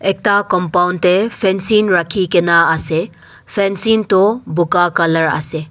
ekta compound te fencing rakhi kena ase fencing toh bugha color ase.